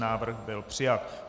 Návrh byl přijat.